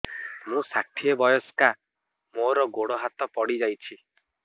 ମୁଁ ଷାଠିଏ ବୟସ୍କା ମୋର ଗୋଡ ହାତ ପଡିଯାଇଛି